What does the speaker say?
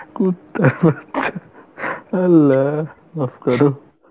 কুত্তার বাছা আল্লাহ মাফ করো